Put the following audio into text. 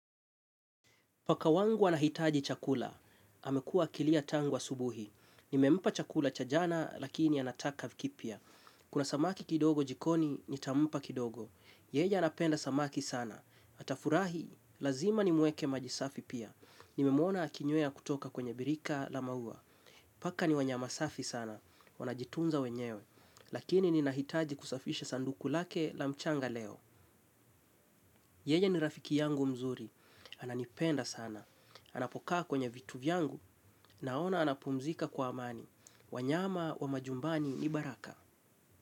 Paka wangu anahitaji chakula, amekua akilia tangu asubuhi. Nimempa chakula cha jana, lakini anataka kipya. Kuna samaki kidogo jikoni, nitampa kidogo. Yeye anapenda samaki sana. Atafurahi, lazima ni mweke maji safi pia. Nimemuona akinywea kutoka kwenye birika la maua. Paka ni wanyama safi sana, wanajitunza wenyewe. Lakini ninahitaji kusafisha sanduku lake la mchanga leo. Yeye ni rafiki yangu mzuri. Ananipenda sana. Anapokaa kwenye vitu vyangu naona anapumzika kwa amani. Wanyama wa majumbani ni baraka.